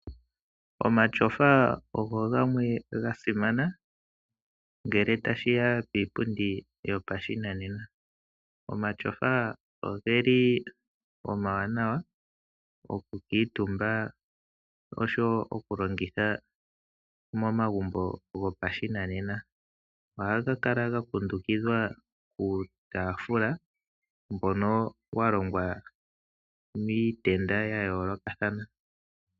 Omashofa ogo gamwe ga simana ngele tashi ya kiipundi yo pashinanena. Omashofa ogeli omawanawa oku kuutumba osho wo oku longitha momagumbo go pashinanena. Ohaga kala ga kundukidhwa kuutaafula mbono wa longwa miitnda ya yoolokathana.